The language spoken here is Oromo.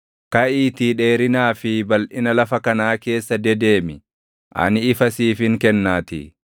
Kaʼiitii dheerinaa fi balʼina lafa kanaa keessa dedeemi; ani isa siifin kennaatii.”